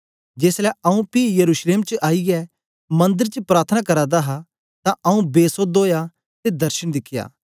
जेसलै आंऊँ पी यरूशलेम च आईयै मंदर च प्रार्थना करा दा हा तां आंऊँ बेसोध ओया ते दर्शन दिख्या